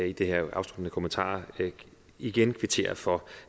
i de her afsluttende kommentarer igen kvittere for